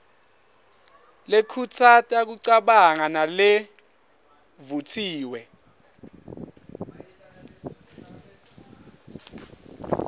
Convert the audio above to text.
lekhutsata kucabanga nalevutsiwe